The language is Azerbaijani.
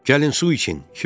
Gəlin su için